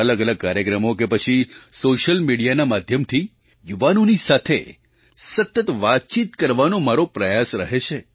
અલગઅલગ કાર્યક્રમો કે પછી સૉશિયલ મિડિયાના માધ્યમથી યુવાનોની સાથે સતત વાતચીત કરવાનો મારો પ્રયાસ રહે છે